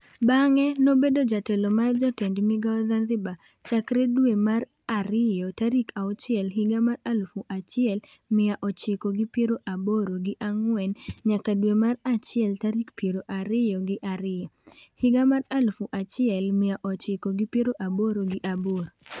Bang'e nobedo jatelo mar jotend migao Zanzibar chakre dwe mar ariyo, tarik auchie higa mar aluf achiel mia ochiko gi piero aboro gi ang'wen nyaka dwe mar achiel tarik piero ariyo gi ariyo, higa mar aluf achiel mia ochiko gi piero aboro gi aboro.